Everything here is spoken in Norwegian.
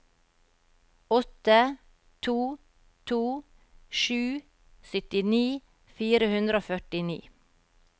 åtte to to sju syttini fire hundre og førtini